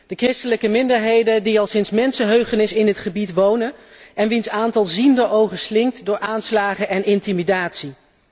De christelijke minderheden die al sinds mensenheugenis in het gebied wonen en wier aantal zienderogen slinkt door aanslagen en intimidatie.